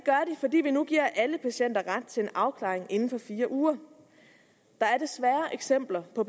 fordi vi nu giver alle patienter ret til en afklaring inden for fire uger der er desværre eksempler på